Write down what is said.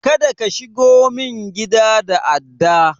Kada ka shigo min gida da adda!